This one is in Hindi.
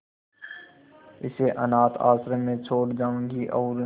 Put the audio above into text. इसे अनाथ आश्रम में छोड़ जाऊंगी और